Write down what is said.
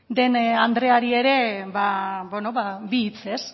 den andreari ere bi hitz ez